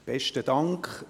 Besten Dank.